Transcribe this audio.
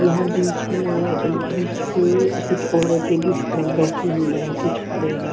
यहाँ बीच मे बीच पे कुछ औरते भी बैठी हुई है कुछ खड़े है।